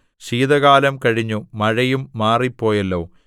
ശീതകാലം കഴിഞ്ഞു മഴയും മാറിപ്പോയല്ലോ